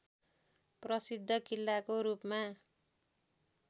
प्रसिद्ध किल्लाको रूपमा